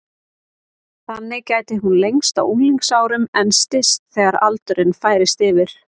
Þannig gæti hún lengst á unglingsárum en styst þegar aldurinn færist yfir.